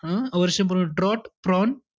हं. अवर्षण प्र~ draught prone,